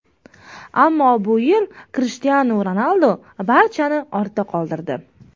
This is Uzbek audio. Ammo bu yil Krishtianu Ronaldu barchani ortda qoldirdi.